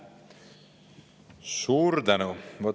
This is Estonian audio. Suur tänu!